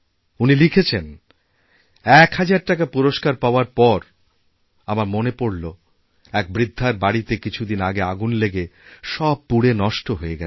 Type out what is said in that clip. উনি লিখেছেন ১ হাজার টাকাপুরস্কার পাওয়ার পর আমার মনে পড়লো এক বৃদ্ধার বাড়িতে কিছুদিন আগে আগুন লেগে সব পুড়েনষ্ট হয়ে গেছে